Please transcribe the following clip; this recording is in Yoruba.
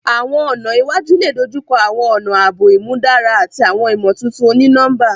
Awọn ọna iwaju le dojukọ awọn ọna aabo imudara ati awọn imotuntun oni-nọmba.